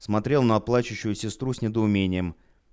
смотрел на плачущую сестру с недоумением